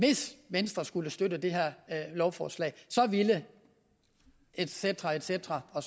hvis venstre skulle støtte det her lovforslag så ville et cetera et cetera og